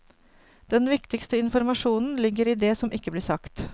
Den viktigste informasjonen ligger i det som ikke blir sagt.